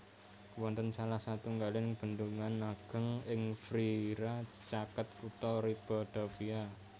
Wonten salah satunggaling bendungan ageng ing Frieira caket kutha Ribadavia